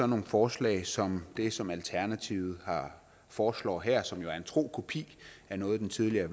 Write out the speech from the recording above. nogle forslag som det som alternativet foreslår her som jo er en tro kopi af noget den tidligere